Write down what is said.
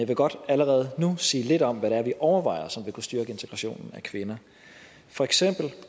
vil godt allerede nu sige lidt om hvad det er vi overvejer som vil kunne styrke integrationen af kvinder for eksempel